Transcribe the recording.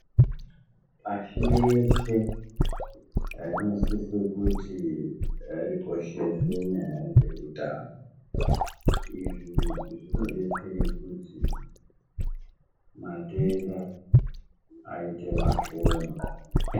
Pashi reshe rinosise kuti rikoshese nyaa dzeutano. Izvi zvinodetsere kuti matenda aite mashoma.